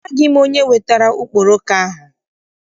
Amaghị m onye wetara okporoko ahụ.